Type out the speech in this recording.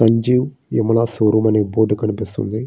Sanjeev Yamuna showroom అనే board కనిపిస్తోంది.